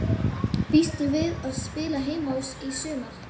Býstu við að spila heima í sumar?